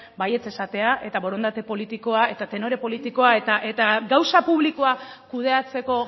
baietz esatea eta borondate politikoa eta tenore politikoa eta gauza publikoa kudeatzeko